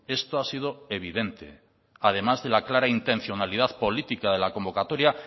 esto ha sido evidente además de la clara intencionalidad política de la convocatoria